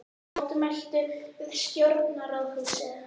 Mótmæltu við stjórnarráðshúsið